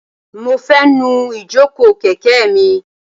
Mo fẹ́ nu ìjókòó kẹ̀kẹ́ mi.